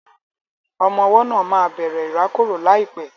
Ọmọ ọwọ́ náà máa bẹ̀rẹ̀ ìrákòrò láìpẹ́